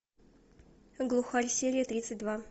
глухарь серия тридцать два